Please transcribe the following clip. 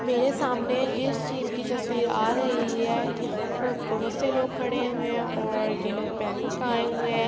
میرے سامنے جس چیز کی تصویر آرہی ہے یہا پر بہت سارے لوگ کھڈے ہے اور یہ لوگ بینک آے ہوے ہے